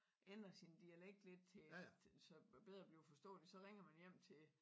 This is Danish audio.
Ændre sin dialekt lidt til så man bedre bliver forståeligt så ringer man hjem til til